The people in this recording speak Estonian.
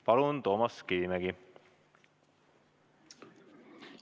Palun, Toomas Kivimägi!